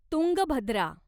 Tungabhadra